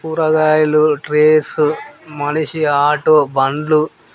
కూరగాయలు trays auto బండ్లు--